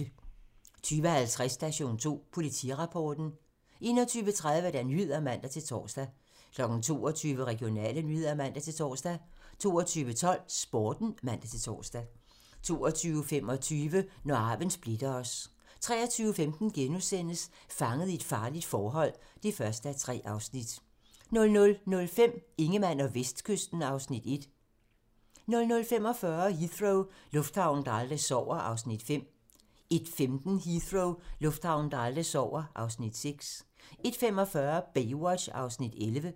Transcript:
20:50: Station 2: Politirapporten (man) 21:30: Nyhederne (man-tor) 22:00: Regionale nyheder (man-tor) 22:12: Sporten (man-tor) 22:25: Når arven splitter os 23:15: Fanget i et farligt forhold (1:3)* 00:05: Ingemann og Vestkysten (Afs. 1) 00:45: Heathrow - lufthavnen, der aldrig sover (Afs. 5) 01:15: Heathrow - lufthavnen, der aldrig sover (Afs. 6) 01:45: Baywatch (11:243)